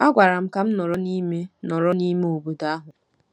A gwara m ka m nọrọ n'ime nọrọ n'ime obodo ahụ.